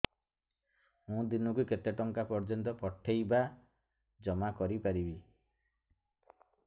ମୁ ଦିନକୁ କେତେ ଟଙ୍କା ପର୍ଯ୍ୟନ୍ତ ପଠେଇ ବା ଜମା କରି ପାରିବି